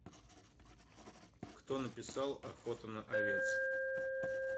кто написал охота на овец